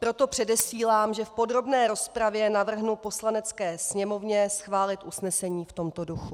Proto předesílám, že v podrobné rozpravě navrhnu Poslanecké sněmovně schválit usnesení v tomto duchu.